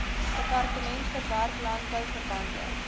departement verwerk landbouverwante